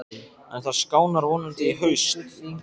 En það skánar vonandi í haust.